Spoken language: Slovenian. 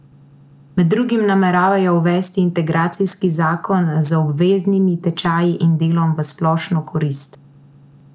Med drugim nameravajo uvesti integracijski zakon z obveznimi tečaji in delom v splošno korist.